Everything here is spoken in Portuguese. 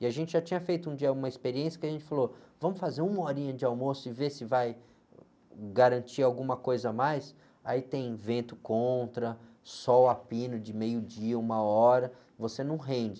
E a gente já tinha feito um dia uma experiência que a gente falou, vamos fazer uma horinha de almoço e ver se vai garantir alguma coisa a mais, aí tem vento contra, sol a pino de meio dia, uma hora, você não rende.